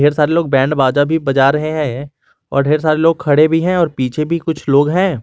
ढेर सारे लोग बैंड बाजा भी बजा रहे हैं और ढेर सारे लोग खड़े भी हैं और पीछे भी कुछ लोग हैं।